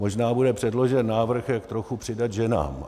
Možná bude předložen návrh, jak trochu přidat ženám.